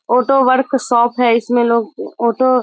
auto workshop है इसमें लोग ऑटो --